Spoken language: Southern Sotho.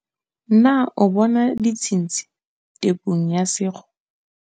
Na o bona ditshintshi tepong ya sekgo?